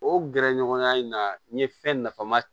O gɛrɛɲɔgɔnya in na n ye fɛn nafama